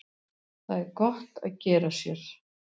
það er gott að gera sér